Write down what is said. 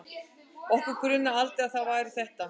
Okkur grunaði aldrei að það væri ÞETTA!